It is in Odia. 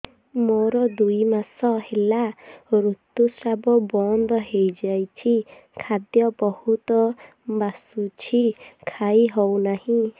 ମୋର ଦୁଇ ମାସ ହେଲା ଋତୁ ସ୍ରାବ ବନ୍ଦ ହେଇଯାଇଛି ଖାଦ୍ୟ ବହୁତ ବାସୁଛି ଖାଇ ହଉ ନାହିଁ